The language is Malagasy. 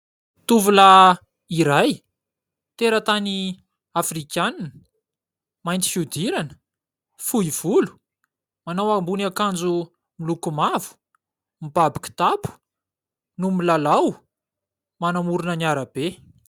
Tovolahy iray tera-tany Afrikanina mainty fiodirana, fohy volo, manao ambonin'akanjo miloko mavo, mibaby kitapo no milalao manamorona ny arabe.